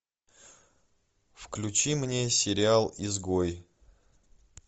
включи мне сериал изгой